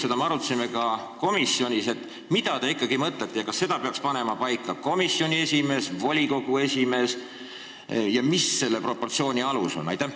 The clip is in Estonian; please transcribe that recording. Seda me arutasime ka komisjonis, et mida te ikkagi mõtlete ning kas seda peaks otsustama ja paika panema komisjoni esimees, volikogu esimees või volikogu ja mis selle proportsiooni alus ikkagi on.